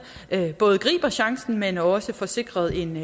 både griber chancen men også får sikret en